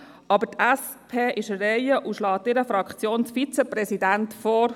Die SP ist aber an der Reihe und schlägt ihren Fraktions-Vizepräsidenten vor.